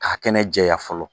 K'a kɛnɛ jɛya fɔlɔ